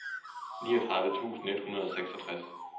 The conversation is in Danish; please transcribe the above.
niogtredive tusind et hundrede og seksogtres